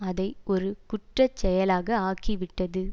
அதை ஒரு குற்ற செயலாக ஆக்கிவிட்டது